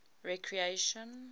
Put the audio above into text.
recreation